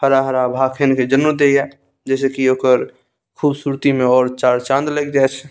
हरा-हरा भाखेन के जन्नो देय्या जैसे की ओकर खूबसूरती में और चार-चाँद लग जाय छे।